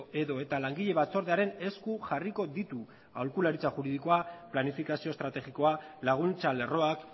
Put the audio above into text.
edota langile batzordearen esku jarriko ditu aholkularitza juridikoa planifikazio estrategikoa laguntza lerroak